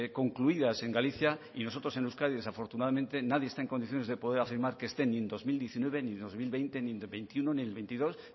concluidas en galicia y nosotros en euskadi desafortunadamente nadie está en condiciones de afirmar que estén ni en el dos mil diecinueve ni en el dos mil veinte ni dos mil veintiuno ni dos mil veintidós